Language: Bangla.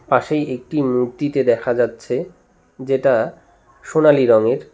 পাশেই একটি মূর্তিতে দেখা যাচ্ছে যেটা সোনালী রঙের।